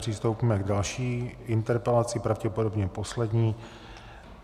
Přistoupíme k další interpelaci, pravděpodobně poslední.